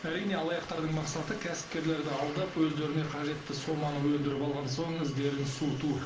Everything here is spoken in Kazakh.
әрине алаяқтардың мақсаты кәсіпкерлерді алдап өздеріне қажетті соманы өндіріп алған соң іздерін суыту